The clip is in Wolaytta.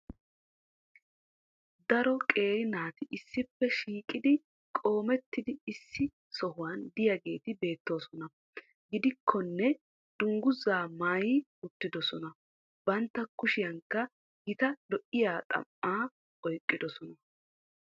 Daro qeeri naati issippe shiiqidi qoomettidi issi sohuwan diyageeti beettoosona. gidikkonne danguzzaa maayi uttidosona. bantta kushiyankka gita lo'iya xam''aa oyqqidosona.